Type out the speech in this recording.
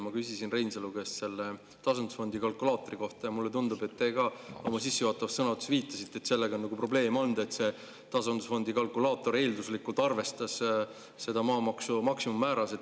Ma küsisin Reinsalu käest tasandusfondi kalkulaatori kohta ja mulle tundub, et te ka oma sissejuhatavas sõnavõtus viitasite, et sellega on probleeme olnud, et tasandusfondi kalkulaator arvestas eelduslikult maamaksu maksimummääras.